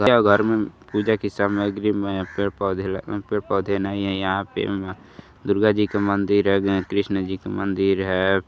के घर में पूजा की सामग्री में पेड़ पोधे ल पेड़ पोधे नहीं है यहाँ पे दुर्गा जी का मंदिर है कृष्ण जी का मंदिर है।